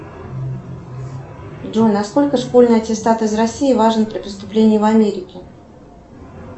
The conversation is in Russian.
джой насколько школьный аттестат из россии важен при поступлении в америке